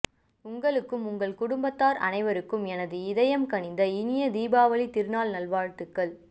உங்களுக்கும் உங்கள் குடும்பத்தார் அனைவருக்கும் எனது இதயம் கனிந்த இனிய தீபாவளித் திருநாள் நல்வாழ்த்துக்கள்